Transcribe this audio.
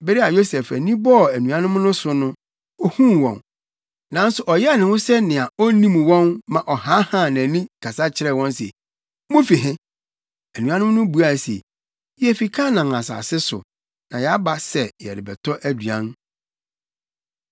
Bere a Yosef ani bɔɔ anuanom no so no, ohuu wɔn, nanso ɔyɛɛ ne ho sɛnea onnim wɔn ma ɔhaahaa nʼani kasa kyerɛɛ wɔn se, “Mufi he?” Anuanom no buaa no se, “Yefi Kanaan asase so, na yɛaba sɛ yɛrebɛtɔ aduan.”